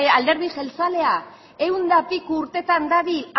alderdi jeltzalea ehun da piku urtetan dabil